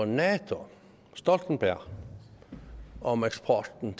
nato stoltenberg om eksporten